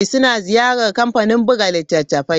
Suna ziyarar kamfanin buga littattafai.